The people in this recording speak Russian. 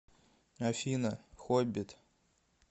афина хоббит